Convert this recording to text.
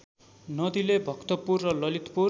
नदीले भक्तपुर र ललितपुर